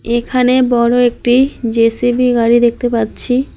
এখানে বড়ো একটি জে_সি_বি গাড়ি দেখতে পাচ্ছি।